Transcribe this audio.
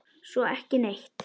Svo ekki neitt.